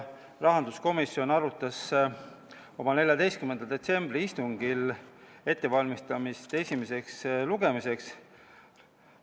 Rahanduskomisjon arutas eelnõu oma 14. detsembri istungil ja valmistas seda ette esimeseks lugemiseks.